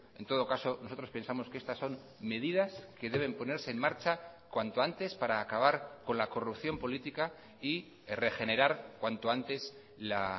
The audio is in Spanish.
en todo caso nosotros pensamos que estas son medidas que deben ponerse en marcha cuanto antes para acabar con la corrupción política y regenerar cuanto antes la